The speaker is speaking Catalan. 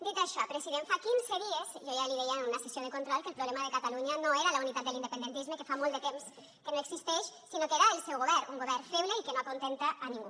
dit això president fa quinze dies jo ja li deia en una sessió de control que el problema de catalunya no era la unitat de l’independentisme que fa molt de temps que no existeix sinó que era el seu govern un govern feble i que no acontenta a ningú